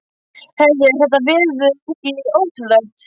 Heyrðu, er þetta veður ekki ótrúlegt?